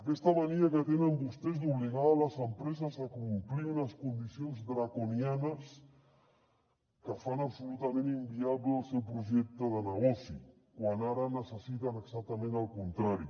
aquesta mania que tenen vostès d’obligar les empreses a complir unes condicions draconianes que fan absolutament inviable el seu projecte de nego·ci quan ara necessiten exactament el contrari